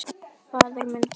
Faðir minn kær.